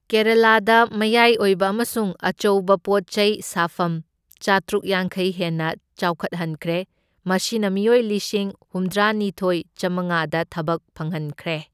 ꯀꯦꯔꯥꯂꯥꯗ ꯃꯌꯥꯏ ꯑꯣꯏꯕ ꯑꯃꯁꯨꯡ ꯑꯆꯧꯕ ꯄꯣꯠꯆꯩ ꯁꯥꯐꯝ ꯆꯥꯇ꯭ꯔꯨꯛ ꯌꯥꯡꯈꯩ ꯍꯦꯟꯅ ꯆꯥꯎꯈꯠꯍꯟꯈ꯭ꯔꯦ, ꯃꯁꯤꯅ ꯃꯤꯑꯣꯏ ꯂꯤꯁꯤꯡ ꯍꯨꯝꯗ꯭ꯔꯥꯅꯤꯊꯣꯢ, ꯆꯥꯃꯉꯥꯗ ꯊꯕꯛ ꯐꯪꯍꯟꯈ꯭ꯔꯦ꯫